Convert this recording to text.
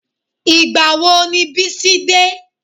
Ìgbà wo ni Bísí dé?